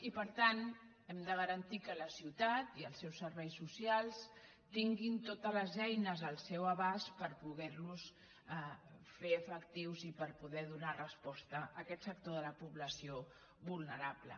i per tant hem de garantir que la ciutat i els seus serveis socials tinguin totes les eines al seu abast per poder·los fer efectius i per poder donar resposta a aquest sector de la població vulnerable